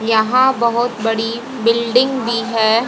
यहां बहोत बड़ी बिल्डिंग भी है।